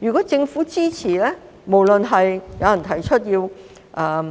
如果政府支持，不論是誰提出要